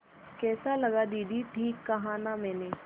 कैसा लगा दीदी ठीक कहा न मैंने